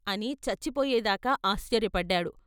" అని చచ్చి పోయేదాకా ఆశ్చర్యపడ్డాడు.